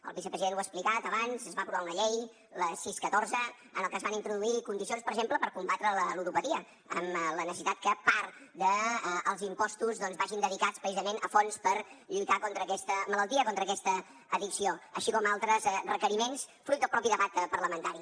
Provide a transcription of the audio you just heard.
el vicepresident ho ha explicat abans es va aprovar una llei la sis catorze en la que es van introduir condicions per exemple per combatre la ludopatia amb la necessitat que part dels impostos doncs vagi dedicats precisament a fons per lluitar contra aquesta malaltia contra aquesta addicció així com altres requeriments fruit del mateix debat parlamentari